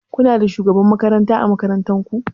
Kuna da shugaban makaranta ã makarantan ku?